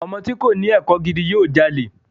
Ọmọ tí kòní ẹ̀kọ́ gidi yóò jalè.